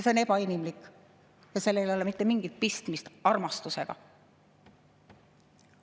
See on ebainimlik ja sellel ei ole mitte mingit pistmist armastusega.